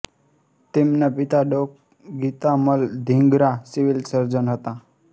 તેમના પિતા ડૉ ગીતામલ ધિંગરા સિવિલ સર્જન હતા